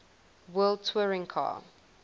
world touring car